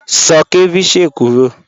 Sọ̀ cẹ̀víchẹ̀ kúrọ́